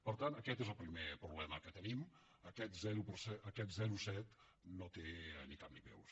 per tant aquest és el primer problema que tenim aquest zero coma set no té ni cap ni peus